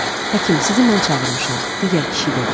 Həkim, sizi mən çağırmışam, digər kişi dedi.